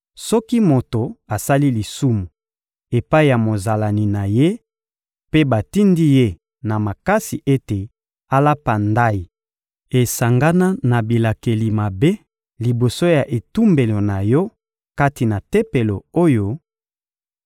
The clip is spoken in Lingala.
Soki moto asali lisumu epai ya mozalani na ye, mpe batindi ye na makasi ete alapa ndayi esangana na bilakeli mabe, liboso ya etumbelo na Yo kati na Tempelo oyo,